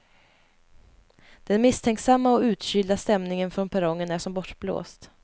Den misstänksamma och utkylda stämningen från perrongen är som bortblåst.